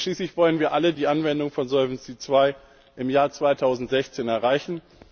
Denn schließlich wollen wir alle die Anwendung von Solvency II im Jahr 2016 erreichen.